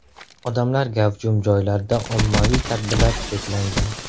Odamlar gavjum joylarda ommaviy tadbirlar cheklangan .